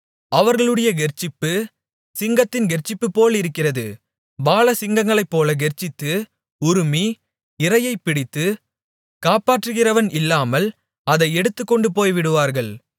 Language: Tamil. அவர்களுடைய கெர்ச்சிப்பு சிங்கத்தின் கெர்ச்சிப்புபோலிருக்கிறது பாலசிங்கங்களைப்போலக் கெர்ச்சித்து உறுமி இரையைப் பிடித்து காப்பாற்றுகிறவன் இல்லாமல் அதை எடுத்துக்கொண்டு போய்விடுவார்கள்